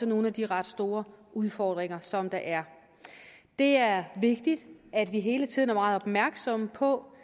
nogle af de ret store udfordringer som der er det er vigtigt at vi hele tiden er meget opmærksomme på